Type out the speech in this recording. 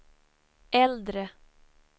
äldre